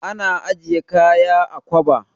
Ana ajiye kaya a kwaba.